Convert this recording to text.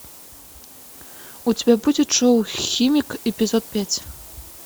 у тебя будет шоу химик эпизод пять